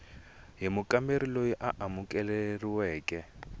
hi mukamberi loyi a amukeriweke